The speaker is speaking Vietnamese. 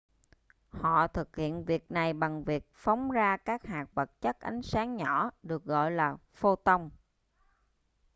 họ thực hiện việc này bằng việc phóng ra các hạt vật chất ánh sáng nhỏ được gọi là photon